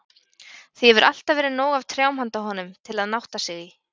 Því hefur alltaf verið nóg af trjám handa honum, til að nátta sig í.